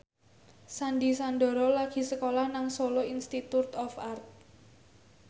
Sandy Sandoro lagi sekolah nang Solo Institute of Art